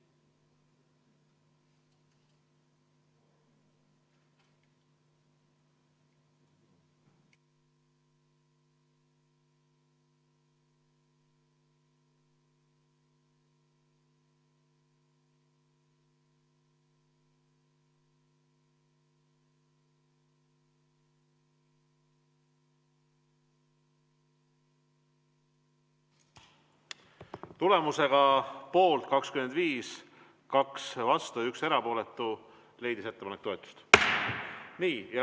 Tulemusega poolt 25, vastu 2 ja 1 erapooletu leidis ettepanek toetust.